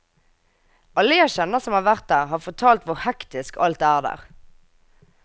Alle jeg kjenner som har vært der, har fortalt hvor hektisk alt er der.